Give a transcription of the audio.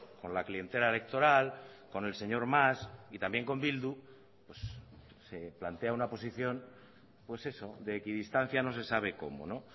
con la clientela electoral con el señor mas y también con bildu se plantea una posición pues eso de equidistancia no se sabe cómo no